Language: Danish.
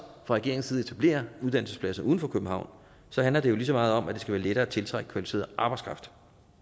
regeringens side etablerer uddannelsespladser uden for københavn handler det jo lige så meget om at det skal være lettere at tiltrække kvalificeret arbejdskraft